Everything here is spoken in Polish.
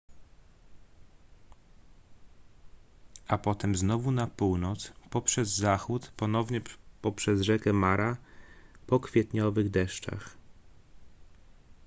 a potem znowu na północ poprzez zachód ponownie poprzez rzekę mara po kwietniowych deszczach